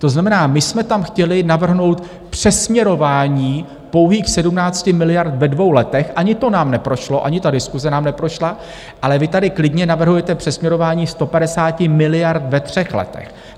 To znamená, my jsme tam chtěli navrhnout přesměrování pouhých 17 miliard ve dvou letech, ani to nám neprošlo, ani ta diskuse nám neprošla, ale vy tady klidně navrhujete přesměrování 150 miliard ve třech letech!